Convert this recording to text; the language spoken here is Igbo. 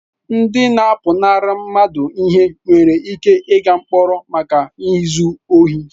Ndị na-apụnara mmadụ ihe nwere ike ịga mkpọrọ maka izu ohi.